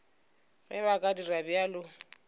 ge ba ka dira bjalo